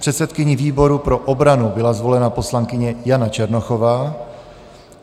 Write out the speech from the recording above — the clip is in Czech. Předsedkyní výboru pro obranu byla zvolena poslankyně Jana Černochová.